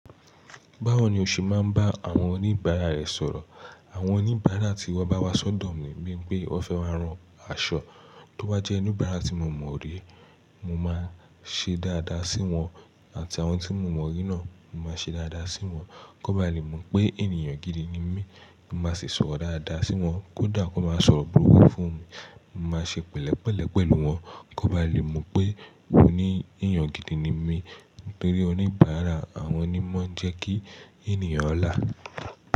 Báwo ni o ṣe máa ń bá àwọn oníbàárà rẹ sọ̀rọ̀? Àwọn oníbàárà tí wọ́n bá wá sọ́dọ̀ mi bíi pé wọ́n fẹ́ máa rán aṣọ, tó wá jẹ́ oníbàárà tí mo mọ̀ orí, mo máa ṣe dáadáa sí wọn àti àwọn tí mo mọ̀ orí náà, mo máa ṣe dáadáa sí wọn. Kọ ba lè mọ̀ pé ènìyàn gidi ni mí, mo máa sì sọ̀rọ̀ dáadáa sí wọn, kódà kọ máa sọ̀rọ̀ burúkú fún mi, mo máa ṣe pẹ̀lẹ́pẹ̀lẹ́ pẹ̀lú wọn. Kó bá lè mọ̀ pé ó ní èèyàn gidi ni mí. Tori oníbàárà, àwọn ní ń mọ n jẹ́ kí ènìyàn là.